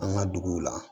An ka duguw la